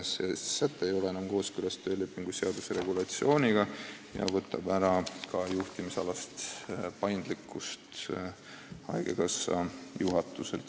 See säte ei ole enam kooskõlas töölepingu seaduse regulatsiooniga ja võtab haigekassa juhatuselt ära ka juhtimisalast paindlikkust.